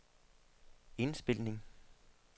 indspilning